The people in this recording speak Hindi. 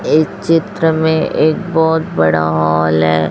इस चित्र में एक बहोत बड़ा हॉल है।